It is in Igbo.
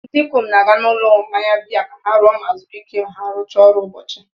ndị ikom na-aga n'ụlọ mmanya biya ka ha ṅụọ ma zuru ike ma ha rụchaa ọrụ ụbọchị